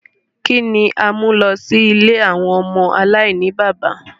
Kini a mu lọ si ìlé awọn ọmọ alainibaba?